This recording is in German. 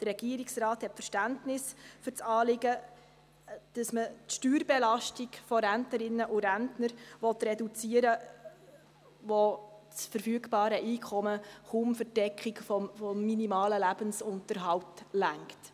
Der Regierungsrat hat Verständnis für das Anliegen, dass man die Steuerbelastung von Rentnerinnen und Rentnern reduzieren will, bei welchen das verfügbare Einkommen kaum zur Deckung des minimalen Lebensunterhalts reicht.